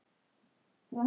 Hvernig þú talar við fólk.